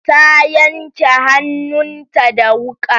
Ta yanke hannun ta da wuƙa